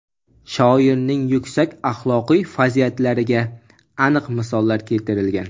Shoirning yuksak axloqiy fazilatlariga aniq misollar keltirilgan.